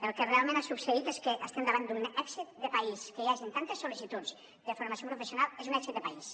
el que realment ha succeït és que estem davant d’un èxit de país que hi hagin tantes sol·licituds de formació professional és un èxit de país